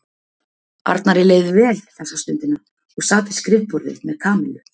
Arnari leið vel þessa stundina og sat við skrifborðið með Kamillu.